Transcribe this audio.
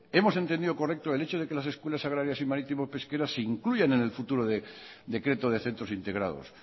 hemos entendido correcto el hecho de que las escuelas agrarias y marítimas pesqueras se incluyan en el futuro decreto de centros integrados